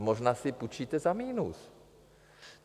A možná si půjčíte za minus.